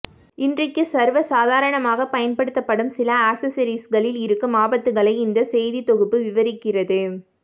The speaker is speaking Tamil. இன்றைக்கு சர்வசாதாரணமாக பயன்படுத்தப்படும் சில ஆக்சஸெரீஸ்களில் இருக்கும் ஆபத்துக்களை இந்த செய்தித் தொகுப்பு விவரிக்கிறது